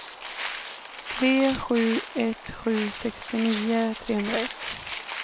tre sju ett sju sextionio trehundraett